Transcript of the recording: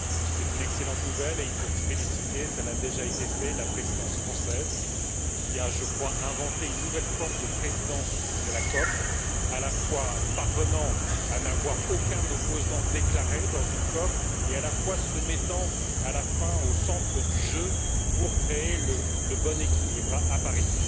C'est une excellente nouvelle, et il faut féliciter cela a déjà été fait la présidence française qui a, je crois, inventé une nouvelle forme de présidence de la COP, parvenant à la fois à n'avoir aucun opposant déclaré dans une COP et à se mettre à la fin au centre du jeu pour créer le bon équilibre à Paris.